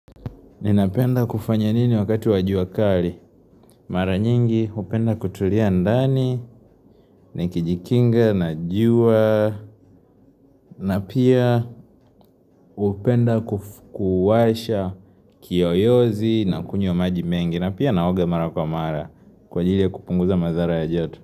Ninapenda kufanya nini wakati wa jua kali? Mara nyingi hupenda kutulia ndani, nikijikinga, na jua, na pia hupenda kufukuwasha kiyoyozi na kunywa majimengi, na pia naoga mara kwa mara kwa ajili ya kupunguza madhara ya joto.